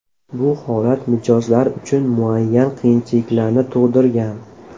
Bu holat mijozlar uchun muayyan qiyinchiliklarni tug‘dirgan.